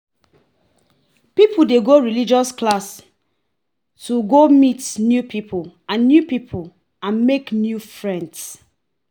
Religious classes get days and time wey dem de operate